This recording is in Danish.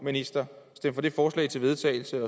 ministeren stem for det forslag til vedtagelse